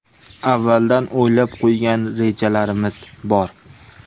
Avvaldan o‘ylab qo‘ygan rejalarimiz bor.